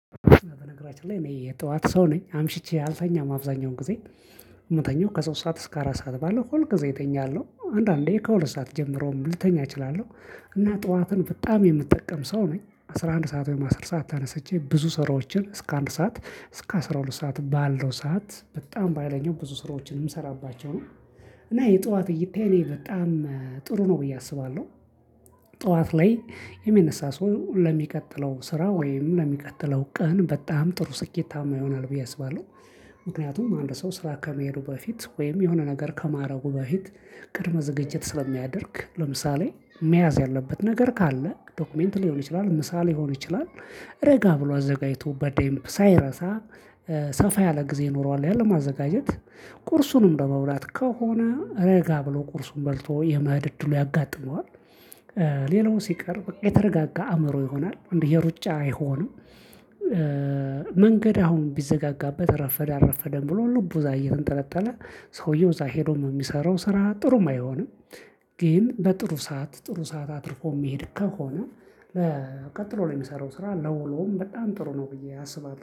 በነገራችን ላይ እኔ የጠዋት ሰው ነኝ አምሽቼ አልተኛም አብዛኛውን ጊዜ ምተኛው ከሶስት ሰዓት እስከ አራት ሰዓት ባለው ሁልጊዜ እተኛለሁ አንዳንዴ ከሁለት ሰዓት ጀምሮ ልተኛ እችላለሁ። እና ጠዋትን በጣም የምጠቀም ሰው ነኝ። አስራ አንድ ሰዓት ወይም አስር ሰዓት ተነሰቼ ብዙ ስራዎችን እስከ አንድ ሰዓት እስከ አስራ ሁለት ሰዓት ባለው ሰዓት በጣም በሃይለኛው ብዙ ስራዎችን የምሰራባቸው ነው። እና የጠዋት እይታዬ እኔ በጣም ጥሩ ነው ብዬ አስባለሁ። ጠዋት ላይ የሚነሳ ሰው ለሚቀጥለው ስራ ወይም ለሚቀጥለው ቀን በጣም ጥሩ ስኬታማ ይሆናል ብዬ አስባለሁ። ምክንያቱም አንድ ሰው ስራ ከመሄዱ በፊት ወይም የሆነ ነገር ከማድረጉ በፊት ቅድመ ዝግጅት ስለሚያደርግ ለምሳሌ መያዝ ያለበት ነገር ካለ ዶክመንት ሊሆን ይችላል ምሳ ሊሆን ይችላል። ረጋ ብሎ አዘጋጅቶ በደንብ ሳይረሳ ሰፋ ያለ ጊዜ ይኖረዋል ያለማአዘጋጀት ቁርሱንም በመብላት ከሆነ ረጋ ብሎ ቁርሱን በልቶ የመሄድ እድሉ ያጋጥመዋል። ሌላው ሲቀር በቃ የተረጋጋ አእምሮ ይሆናል የሩጫ አይሆንም። መንገድ አሁን ቢዘጋጋበት ረፈደ አረፈደም ብሎ ልቡ ዛሬ እየተንጠለጠለ ሰውየው እዛ ሄዶ ነው የሚሰራው ስራ ጥሩም አይሆንም። ግን በጥሩ ሰዓት ጥሩ ሰዓት አትርፎ የሚሄድ ከሆነ። ቀጥሎ ላይ የሚሰራው ስራ ለውሎም በጣም ጥሩ ነው ብዬ አስባለሁ